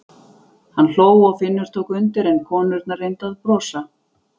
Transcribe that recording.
Hann hló og Finnur tók undir en konurnar reyndu að brosa.